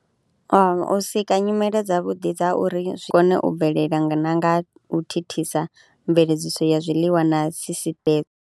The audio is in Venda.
U sika nyimele dzavhuḓi dza uri zwi kone u bvelela na nga u thithisa mveledziso ya zwiḽiwa na sisiṱeme.